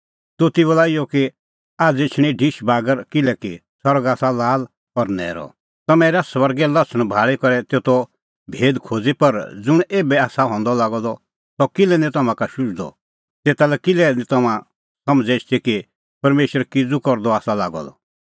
दोती बोला इहअ कि आझ़ एछणी ढिश बागर किल्हैकि सरग आसा लाल और न्हैरअ तम्हैं हेरा सरगे लछ़ण भाल़ी करै तेतो भेद खोज़ी पर ज़ुंण एभै आसा हंदअ लागअ द सह किल्है निं तम्हां का शुझदअ तेता करै किल्है निं तम्हां समझ़ एछदी कि परमेशर किज़ू करदअ आसा लागअ द